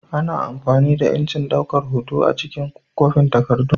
Ana amfani da injin daukan hoto a cikin kwafin takardu.